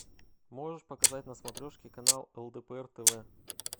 можешь показать на смотрешке канал лдпр тв